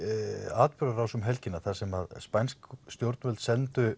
atburðarás um helgina þar sem spænsk stjórnvöld sendu